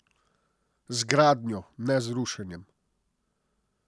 Z gradnjo, ne z rušenjem.